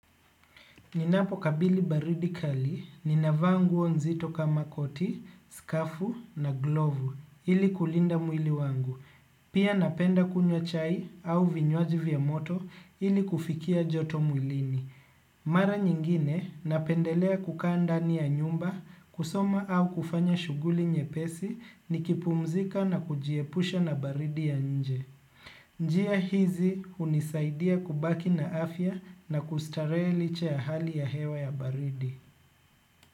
Ninapokabili baridi kali, ninavaa nguo nzito kama koti, skafu na glovu ili kulinda mwili wangu. Pia napenda kunywa chai au vinywaji vya moto ili kufikia joto mwilini. Mara nyingine napendelea kukaa ndani ya nyumba kusoma au kufanya shughuli nyepesi nikipumzika na kujiepusha na baridi ya nje. Njia hizi hunisaidia kubaki na afya na kustarehe licha ya hali ya hewa ya baridi.